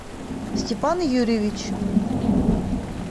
степан юрьевич